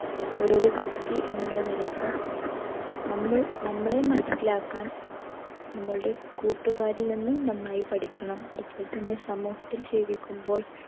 ഓരോരോ വ്യക്തി എന്നുള്ള നിലക്ക് നമ്മൾ നമ്മളെ മനസിലാക്കാൻ നമ്മളുടെ കൂട്ടുകാരിൽ നിന്നും നന്നായി പഠിക്കണം അതുപോലെ തന്നെ സമൂഹത്തിൽ ജീവിക്കുമ്പോൾ